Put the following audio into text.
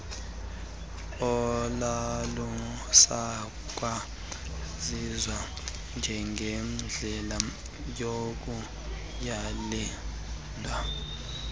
olalusakwaziwa njengendlela yokuyalela